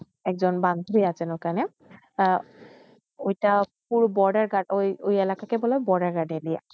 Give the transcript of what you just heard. একজন বান্ধবী আসে য়ইখানে ঐটা এলেকাকে বলে বর্ডারের এলেকা